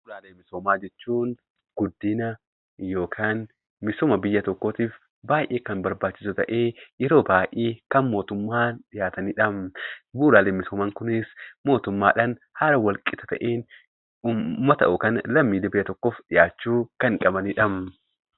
Bu'uuraalee misoomaa jechuun guddina yookaan misooma biyya tokkootiif baay'ee kan barbaachisu ta'ee yeroo baay'ee kan mootummaan dhiyaatanidha. Bu'uuraaleen misoomaa kunis mootummaadhaan haala wal qixa ta'een uummata yookiin lammiilee biyya tokkoof dhiyaachuu kan qabanidha.